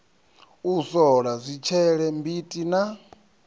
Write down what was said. u sola zwitshele mbiti na